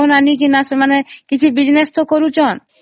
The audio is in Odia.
loan ଆଣି କିଛି business ତ କରୁଛନ୍ତି